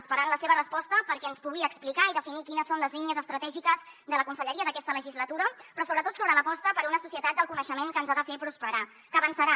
esperem la seva resposta perquè ens pugui explicar i definir quines són les línies estratègiques de la conselleria d’aquesta legislatura però sobretot sobre l’aposta per una societat del coneixement que ens ha de fer prosperar que avançarà